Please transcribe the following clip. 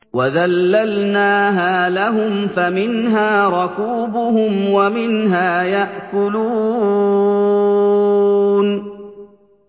وَذَلَّلْنَاهَا لَهُمْ فَمِنْهَا رَكُوبُهُمْ وَمِنْهَا يَأْكُلُونَ